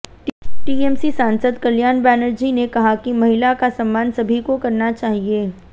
TMC सांसद कल्याण बनर्जी ने कहा कि महिला का सम्मान सभी को करना चाहिए